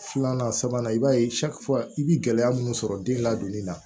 Filanan sabanan i b'a ye i bɛ gɛlɛya minnu sɔrɔ den ladonni na